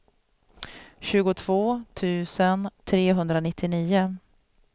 tjugotvå tusen trehundranittionio